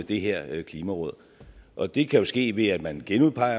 det her klimaråd og det kan jo ske ved at man genudpeger